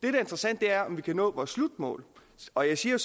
er interessant er om vi kan nå vores slutmål og jeg siger